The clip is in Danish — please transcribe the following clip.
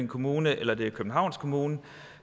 kommune eller det er københavns kommune